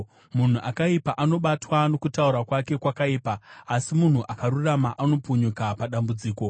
Munhu akaipa anobatwa nokutaura kwake kwakaipa, asi munhu akarurama anopunyuka padambudziko.